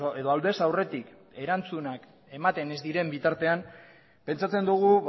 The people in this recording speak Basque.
edo aldez aurretik erantzunak ematen ez diren bitartean pentsatzen dugu